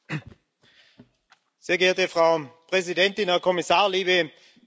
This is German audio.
Sehr geehrte Frau Präsidentin, Herr Kommissar, liebe Kolleginnen und Kollegen!